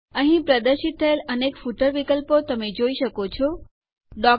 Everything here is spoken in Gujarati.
અહીં પ્રદર્શિત થયેલ અનેક ફૂટર વિકલ્પો તમે જોઈ શકો છો